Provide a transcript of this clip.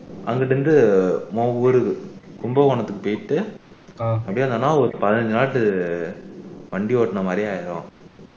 அதுல இருந்து இன்னொரு ஊருக்கு கும்பகோணத்துக்கு போயிட்டு அப்படியோ வந்தோம்னா ஒரு நாட்டு வண்டி ஓட்டினமாதிரி ஆகிடும்